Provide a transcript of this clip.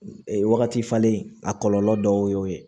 Wagati falen a kɔlɔlɔ dɔw y'o ye